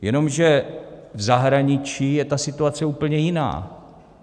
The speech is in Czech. Jenomže v zahraničí je ta situace úplně jiná.